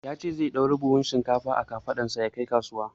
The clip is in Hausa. Ya ce zai ɗaura buhun shinkfa a kafaɗarsa ya kai kasuwa.